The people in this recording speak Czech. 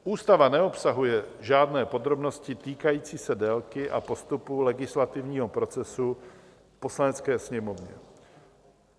Ústava neobsahuje žádné podrobnosti týkající se délky a postupu legislativního procesu v Poslanecké sněmovně.